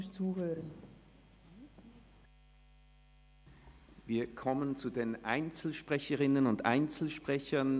Wir kommen zu den Einzelsprecherinnen und Einzelsprechern.